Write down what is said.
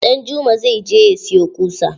Danjuma zai je ya siyo ƙusa.